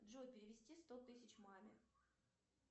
джой перевести сто тысяч маме